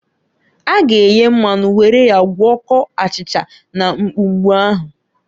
A ga eye mmanu were ya gwọkọọ achịcha na mgbumgbu ahu.